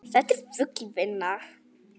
Þetta er full vinna!